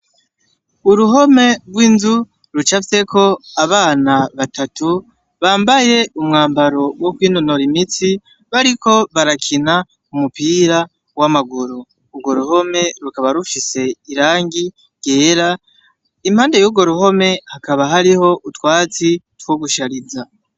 Uruhome rw'inzu ruca vyeko abana batatu bambaye umwambaro wokoinonora imitsi bariko barakina umupira w'amaguru urwo ruhome rukaba rufhise irangi ryera impande yugo ruhome hakaba hariho utwatsi twogusharie za.